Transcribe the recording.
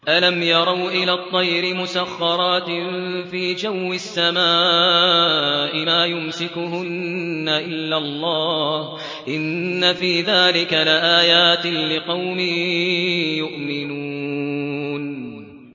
أَلَمْ يَرَوْا إِلَى الطَّيْرِ مُسَخَّرَاتٍ فِي جَوِّ السَّمَاءِ مَا يُمْسِكُهُنَّ إِلَّا اللَّهُ ۗ إِنَّ فِي ذَٰلِكَ لَآيَاتٍ لِّقَوْمٍ يُؤْمِنُونَ